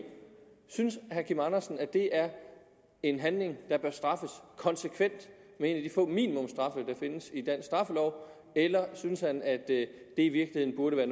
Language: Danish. synes herre kim andersen at det er en handling der bør straffes konsekvent med en af de få minimumsstraffe der findes i dansk straffelov eller synes han at det i virkeligheden burde være